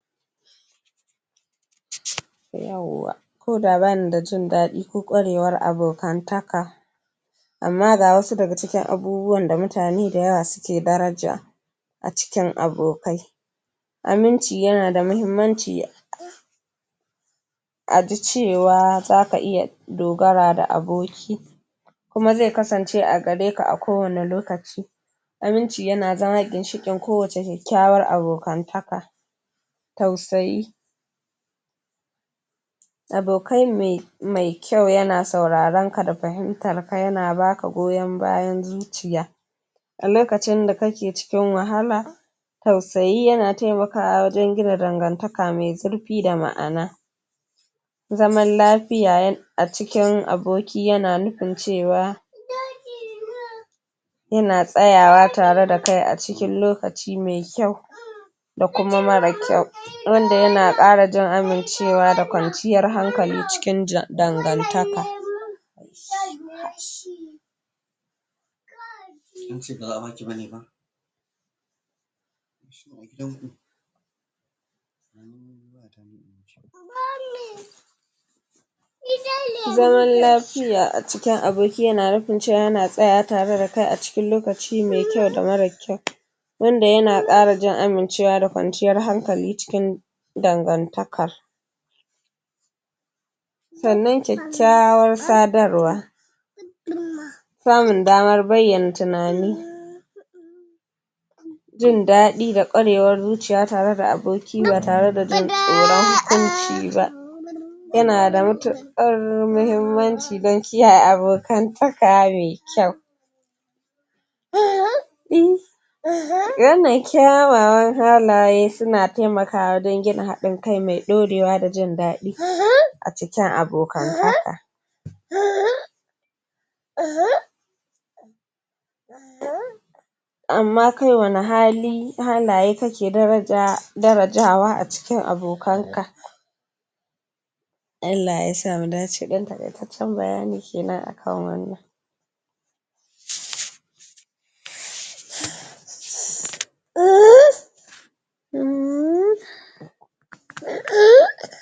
yauwa ko da bani da jin daɗi ko ƙwarewar abokantaka amma ga wasu daga cikin abubuwan da mutane da yawa su ke daraja a cikin abokai aminci yana da muhimmaci a ji cewa za ka iya dogara da aboki kuma zai kasance a gareka a kowanne lokaci aminci yana zama ginshiƙin kowacce kyakyawan abokantaka tausayi abokai mai kyau yana sauraren ka da fahimtar ka yana baka goyon bayan zuciya a lokacin da kake cikin wahala tausayi yana taimakawa wajen gina dangantaka mai zurfi da ma'ana zaman lafiya a cikin aboki yana nufin cewa?? yana tsayawa tare da kai a cikin lokaci mai kyau da kuma marar kyau wanda yana ƙara jin amincewa da kwanciyar hankali cikin dangantaka?????? zaman lafiya a cikin aboki yana nufin yana tsayawa tare da kai a cikin lokaci mai kyau da marar kyau wanda yana ƙara jin amincewa da kwanciyar hankali cikin dangartakar sannan kyakyawar sadarwa? samun daman bayyana tunani jin daɗi da ƙwarewar zuciya tare da aboki ba tare da jin tsoron hukunci ba yana da matuƙar muhimmaci dan kiyaye abokantaka mai kyau? wannan kyawawan halaye suna taimakawa wajen gina haɗin kai mai ɗorewa da jin dadi a cikin abokantaka??? amma kai wani hali halaye ka ke darajawa a cikin abokanka Allah yasa mu dace ɗan taƙaitaccen bayani kenan a kan wannan?????????